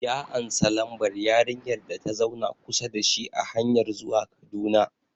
Ya ansa lambar yarinyar data zauna kusa da shi a hanyar zuwa Kaduna